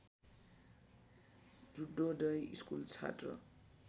Juddhodaya school छात्र